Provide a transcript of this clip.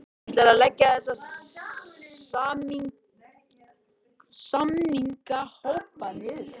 Þorbjörn Þórðarson: Ætlarðu að leggja þessa samningahópa niður?